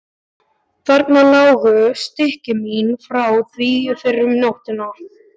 Þarna lágu stykki mín frá því fyrr um nóttina.